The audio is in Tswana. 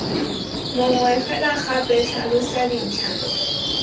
mongwe fela gape tlhalosa dintlha